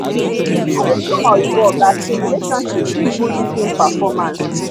i dey show my oyinbo oga say relationship fit boost team performance